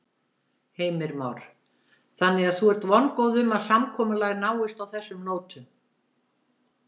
Heimir Már: Þannig að þú ert vongóð um að samkomulag náist á þessum nótum?